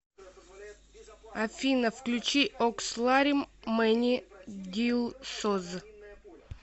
афина включи оксларим мэни дилсоз